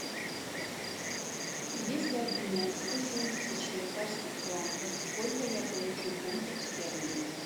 если обменять сто семьдесят швейцарских франков сколько я получу фунтов стерлингов